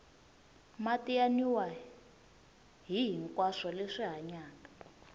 mati ya nwiwa hihinkwaswo leswi hanyaka